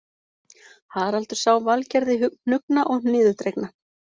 Haraldur sá Valgerði hnuggna og niðurdregna